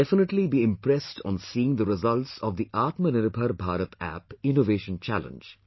You will definitely be impressed on seeing the results of the Aatma Nirbhar Bharat App innovation challenge